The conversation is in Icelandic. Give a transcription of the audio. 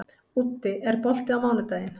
Úddi, er bolti á mánudaginn?